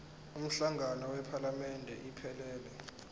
umhlangano wephalamende iphelele